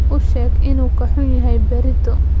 U sheeg inuu ka xun yahay berrito.